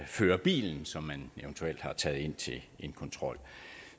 fører bilen som man eventuelt har taget ind til en kontrol